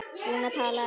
Lúna talaði